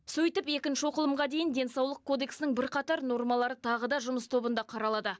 сөйтіп екінші оқылымға дейін денсаулық кодексінің бірқатар нормалары тағы да жұмыс тобында қаралады